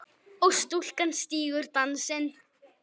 og stúlkan stígur dansinn